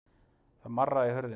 Það marraði í hurðinni.